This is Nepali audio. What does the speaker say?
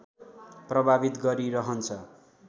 प्रभावित गरि रहन्छ।